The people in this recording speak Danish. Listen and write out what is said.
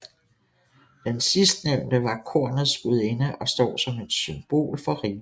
Den sidstnævnte var kornets gudinde og står som et symbol for rigdom